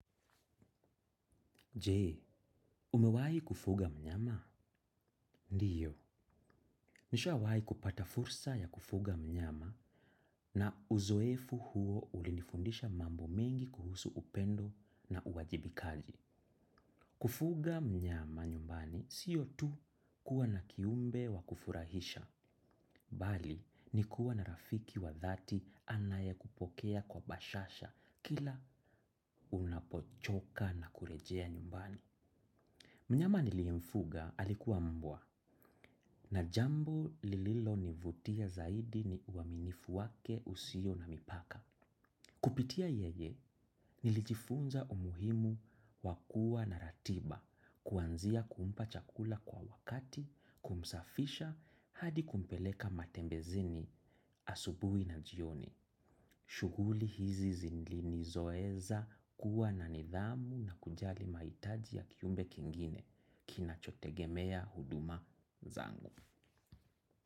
Jee, umewahi kufuga mnyama? Ndiyo. Nishawahi kupata fursa ya kufuga mnyama na uzoefu huo ulinifundisha mambo mengi kuhusu upendo na uwajibikaji. Kufuga mnyama nyumbani siyo tu kuwa na kiumbe wa kufurahisha. Bali, ni kuwa na rafiki wa dhati anaye kupokea kwa bashasha kila unapochoka na kurejea nyumbani. Mnyama niliyemfuga alikuwa mbwa na jambo lililo nivutia zaidi ni uaminifu wake usio na mipaka. Kupitia yeye nilijifunza umuhimu wakua na ratiba kuanzia kumpa chakula kwa wakati kumsafisha hadi kumpeleka matembezini asubui na jioni. Shuguli hizi zindli zoeza kuwa na nidhamu na kujali maitaji ya kiumbe kingine kina chotegemea huduma zangu.